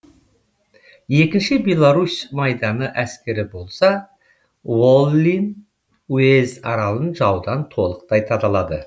екінші беларусь майданы әскері болса воллин уезд аралын жаудан толықтай тазалады